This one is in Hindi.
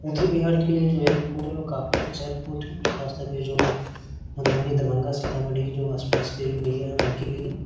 उत्तरी बिहार के लिए जो रिपोर्ट है वो काफी अच्छा रिपोर्ट है खास करके जो मधुबनी दरभंगा सीतामढ़ी जो आस-पास के एरिया है उनके लिए।